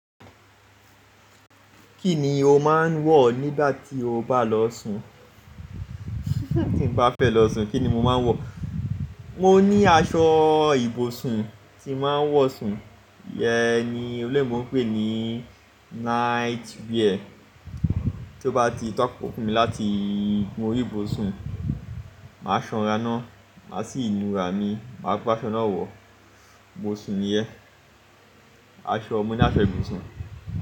Kí ni o máa ń wọ̀ nígbà tí o bá lọ sùn? Tí n bá fẹ́ lọ sùn kí ni mo máa ń wọ̀? Mo ní aṣọ ìbùsùn tí màá ń wọ̀ sùn, iyẹn ni oloyinbo ń pè ní night wear. Tó bá ti takókó fún mi láti mú orí ìbùsùn, màá sanra ná, màá sì nu ra mi, màá gbe aṣọ náà wọ̀, mo sùn níyẹn, aṣọ-- ọmọ ní aṣọ ìbùsùn.